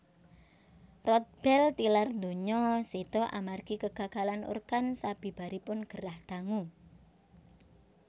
Rodbell tilar donya séda amargi kegagalan organ sabibaripun gerah dangu